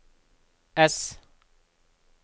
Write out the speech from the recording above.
S